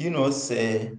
you know say